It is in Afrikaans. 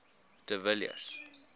de villiers